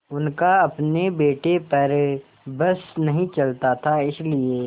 उनका अपने बेटे पर बस नहीं चलता था इसीलिए